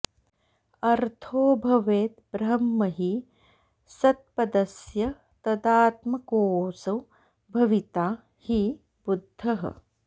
अर्थो भवेद् ब्रह्म हि सत्पदस्य तदात्मकोऽसौ भविता हि बुद्धः